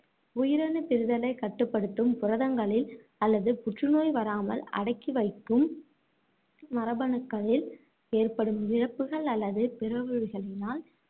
உயிரணு பிரிதலை கட்டுப்படுத்தும் புரதங்களில் அல்லது புற்று நோய் வரமால் அடக்கி வைக்கும் மரபணுக்களில் ஏற்படும் இழப்புகள் அல்லது பிறழ்வுகளினால்